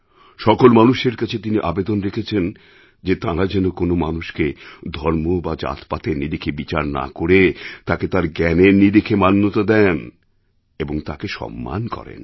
সকল মানুষের কাছে তিনি আবেদন রেখেছেন যে তাঁরা যেন কোনও মানুষকে ধর্ম বা জাতপাতের নিরিখে বিচার না করে তাকে তাঁর জ্ঞানের নিরিখে মান্যতা দেন এবং তাঁকে সম্মান করেন